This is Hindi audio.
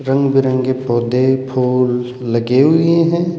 रंग बिरंगे पौधे फूल लगे हुए हैं।